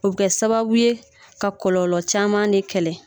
O bɛ kɛ sababu ye ka kɔlɔlɔ caman de kɛlɛ